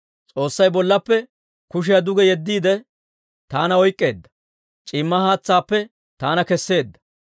«S'oossay bollappe kushiyaa duge yeddiide, taana oyk'k'eedda; c'iimma haatsaappe taana keseedda.